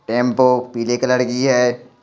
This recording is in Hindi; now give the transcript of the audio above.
टेंपो पीलेे कलर की है।